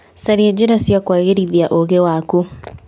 Caria njĩra cia kũagĩrithia ũũgĩ waku.